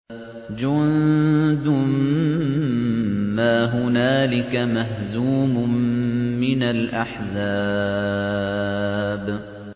جُندٌ مَّا هُنَالِكَ مَهْزُومٌ مِّنَ الْأَحْزَابِ